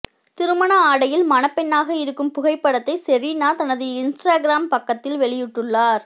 திருமண ஆடையில் மணப்பெண்ணாக இருக்கும் புகைப்படத்தை செரீனா தனது இன்ஸ்டாகிராம் பக்கத்தில் வெளியிட்டுள்ளார்